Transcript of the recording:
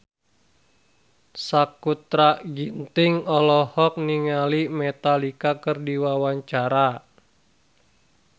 Sakutra Ginting olohok ningali Metallica keur diwawancara